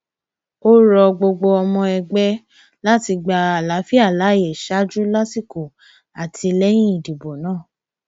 ó rọ gbogbo ọmọ ẹgbẹ láti gba àlàáfíà láàyè ṣáájú lásìkò àti lẹyìn ìdìbò náà